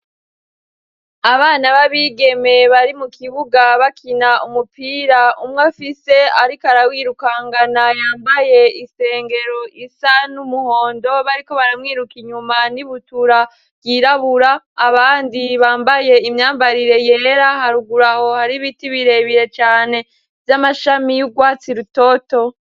Abana b'abigemeye bari mu kibuga bakina umupira umwo afise, ariko arawirukangana yambaye isengero isa n'umuhondo bariko baramwiruka inyuma n'ibutura byirabura abandi bambaye imyambarire yera haruguraho hari biti birebiye cane z'amashami y'ugwatsi rutoto.